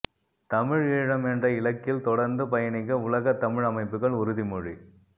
தமிழீழம் என்ற இலக்கில் தொடர்ந்து பயணிக்க உலகத் தமிழ் அமைப்புகள் உறுதிமொழி